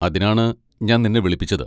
അതിനാണ് ഞാൻ നിന്നെ വിളിപ്പിച്ചത്.